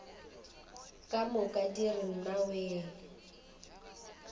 ka moka di re nnawee